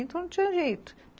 Então não tinha jeito.